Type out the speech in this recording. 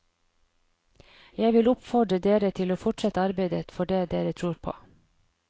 Jeg vil oppfordre dere til å fortsette arbeidet for det dere tror på.